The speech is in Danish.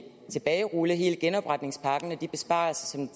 tilbagerulle hele genopretningspakken og de besparelser som